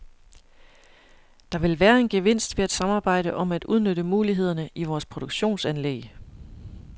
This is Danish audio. Der vil være en gevinst ved at samarbejde om at udnytte mulighederne i vores produktionsanlæg.